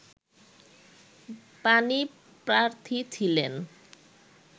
পাণিপ্রার্থী ছিলেন